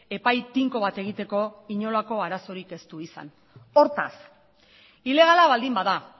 epai tinko bat egiteko inolako arazorik ez du izan hortaz ilegala baldin bada